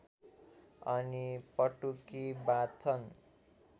अनि पटुकी बाँध्छन्